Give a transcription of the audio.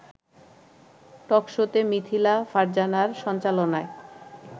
টকশোতে মিথিলা ফারজানার সঞ্চালনায়